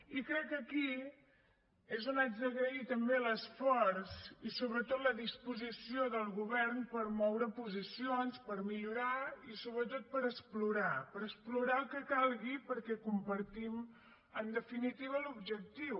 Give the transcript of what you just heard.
i crec que aquí és on haig d’agrair també l’esforç i sobretot la disposició del govern per moure posicions per millorar i sobretot per explorar per explorar el que calgui perquè compartim en definitiva l’objectiu